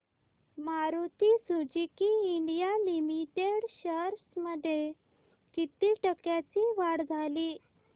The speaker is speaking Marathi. Maruti Suzuki India limited shares मध्ये किती टक्क्यांची वाढ झाली